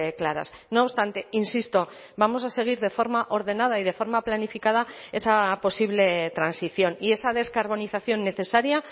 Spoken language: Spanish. claras no obstante insisto vamos a seguir de forma ordenada y de forma planificada esa posible transición y esa descarbonización necesaria